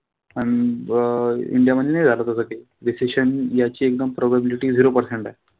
अन अं इंडिया मध्ये नाई झालं तस काई. Recession याची एकदम probability zero percent आहे.